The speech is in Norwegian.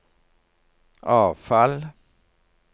avfall